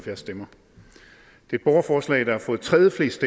det borgerforslag der har fået tredjeflest